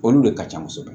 Olu de ka ca kosɛbɛ